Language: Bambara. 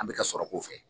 An bɛ ka sɔrɔ k'o fɛ